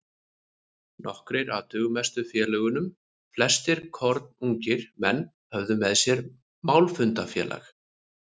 Nokkrir af dugmestu félögunum, flestir kornungir menn, höfðu með sér málfundafélag